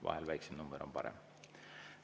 Vahel on väiksem number parem.